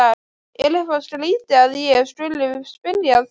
Er eitthvað skrýtið að ég skuli spyrja að því?